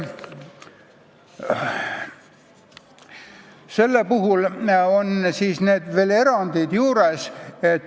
Seal on veel erandeid.